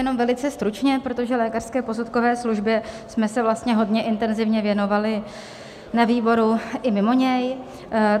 Jenom velice stručně, protože lékařské posudkové službě jsme se vlastně hodně intenzivně věnovali na výboru i mimo něj.